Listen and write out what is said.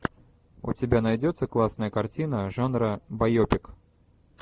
у тебя найдется классная картина жанра байопик